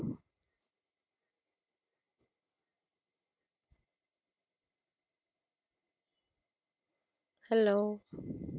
Hello